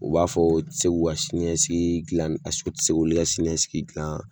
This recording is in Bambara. U b'a fɔ u ti se k'u ka siniɲɛsigi gilan paseke o ti se k'olu ka siniɲɛsigi gilan